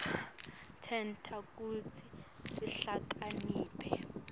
tenta kutsi sihlakaniphe